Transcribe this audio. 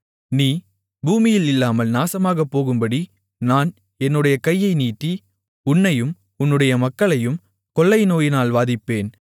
நீ பூமியில் இல்லாமல் நாசமாகப்போகும்படி நான் என்னுடைய கையை நீட்டி உன்னையும் உன்னுடைய மக்களையும் கொள்ளை நோயினால் வாதிப்பேன்